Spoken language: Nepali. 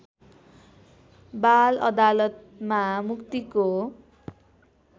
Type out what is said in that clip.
बाल अदालतमा मुक्तिको